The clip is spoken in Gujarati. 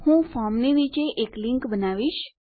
હું ફોર્મની નીચે એક લીંક બનાવીશ